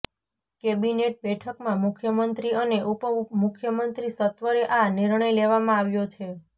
cabinet બેઠકમાં મુખ્યમંત્રી અને ઉપ મુખ્યમંત્રી સત્વરે આ નિર્ણય લેવામાં આવ્યો છે